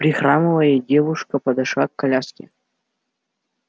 прихрамывая девушка подошла к коляске